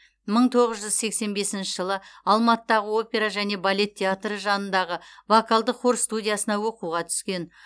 мың тоғыз жүз сексен бесінші жылы алматыдағы опера және балет театры жанындағы вокалдық хор студиясына оқуға түскен